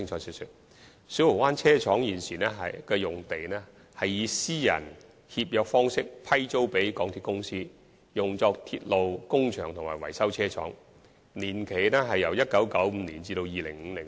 現時小蠔灣車廠用地是以私人協約方式批租予港鐵公司，以作鐵路工場和維修車廠之用，批租年期由1995年至2050年。